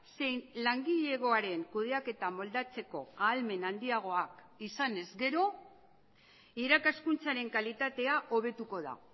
zein langilegoaren kudeaketa moldatzeko ahalmen handiagoak izanez gero irakaskuntzaren kalitatea hobetuko da